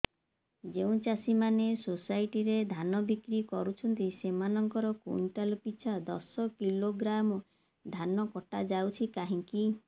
ଯେଉଁ ଚାଷୀ ମାନେ ସୋସାଇଟି ରେ ଧାନ ବିକ୍ରି କରୁଛନ୍ତି ସେମାନଙ୍କର କୁଇଣ୍ଟାଲ ପିଛା ଦଶ କିଲୋଗ୍ରାମ ଧାନ କଟା ଯାଉଛି କାହିଁକି